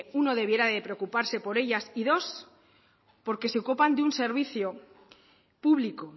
uno debiera de preocuparse por ellas y dos porque se ocupan de un servicio público